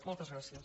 moltes gràcies